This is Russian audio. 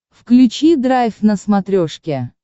включи драйв на смотрешке